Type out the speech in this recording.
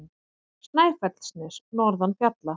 Snæfellsnes norðan fjalla.